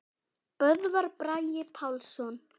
Böðvar Bragi Pálsson